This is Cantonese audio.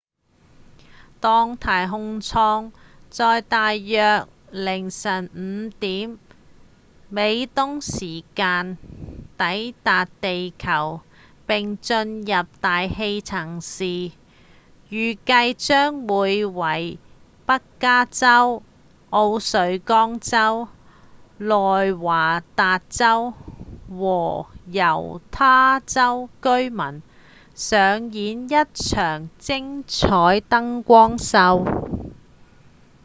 當太空艙在大約凌晨5點美東時間抵達地球並進入大氣層時預計將會為北加州、奧瑞岡州、內華達州和猶他州居民上演一場精采燈光秀